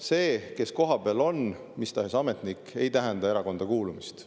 See, kui keegi kohapeal on, mis tahes ametnik, ei tähenda erakonda kuulumist.